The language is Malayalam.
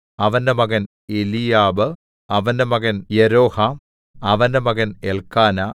അവന്റെ മകൻ എലീയാബ് അവന്റെ മകൻ യെരോഹാം അവന്റെ മകൻ എല്‍ക്കാനാ